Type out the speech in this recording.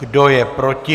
Kdo je proti?